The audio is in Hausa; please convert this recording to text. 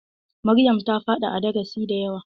Maryam ta faɗa a darasi da yawa.